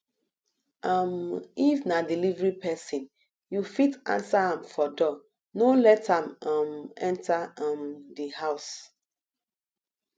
um if na delivery person you fit answer am for door no let am um enter um di house